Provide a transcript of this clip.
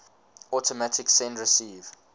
automatic send receive